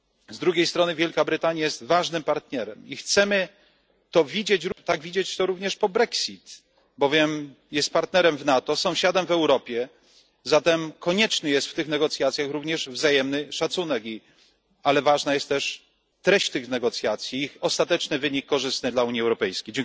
Z drugiej strony Wielka Brytania jest ważnym partnerem i chcemy to tak widzieć również po brexicie, bowiem jest partnerem w NATO, sąsiadem w Europie, zatem konieczny jest w tych negocjacjach również wzajemny szacunek, ale ważna jest też treść tych negocjacji, ostateczny wynik korzystny dla Unii Europejskiej.